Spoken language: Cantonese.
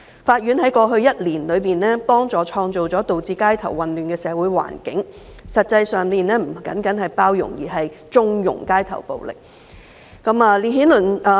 法院在過去一年，協助創造了導致街頭混亂的社會環境，實際上，這不僅是包容，而是縱容街頭暴力。